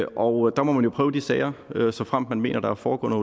og der må man jo prøve de sager såfremt man mener der er foregået